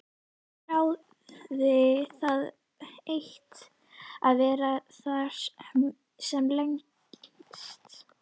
Þráði það eitt að vera þar sem lengst.